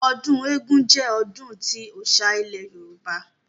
Ọdún eégún jẹ́ ọdún tí ọ́ṣá ilẹ̀ Yorùbá